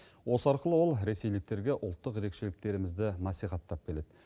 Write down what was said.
осы арқылы ол ресейліктерге ұлттық ерекшеліктерімізді насихаттап келеді